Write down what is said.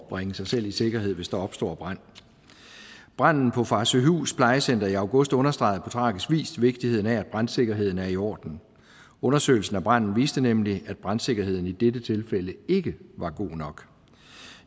at bringe sig selv i sikkerhed hvis der opstår brand branden på farsøhus plejecenter i august understregede på tragisk vis vigtigheden af at brandsikkerheden er i orden undersøgelsen af branden viste nemlig at brandsikkerheden i dette tilfælde ikke var god nok